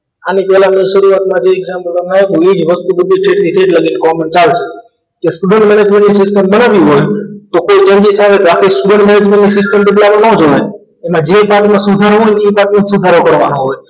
આની પહેલાની શરૂઆતમાં જે exam પૂરવામાં આવે તો એ જ વસ્તુ બધી છે તેથી તે લગી common ચાલશે કે student management ની system બનાવવી હોય તો કોઈ ઈચ્છાઓ graphics student management ની system બદલાવા ન જવાય તમારે જે હાથમાં સુધારવું હોય એ જ હાથમાં સુધારો કરવાનું હોય